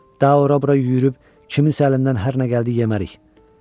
Daha ora-bura yürüyüb kiminsə əlindən hər nə gəldi yemərik.